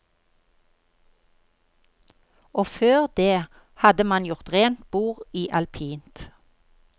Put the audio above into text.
Og før det hadde man gjort rent bord i alpint.